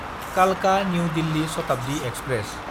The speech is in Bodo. कालका–निउ दिल्ली शताब्दि एक्सप्रेस